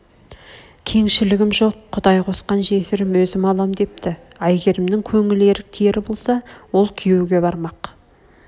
кеңшілгім жоқ құдай қосған жесірм өзім алам депті айгермнің көңіл ерік тиер болса ол күйеуге бармақ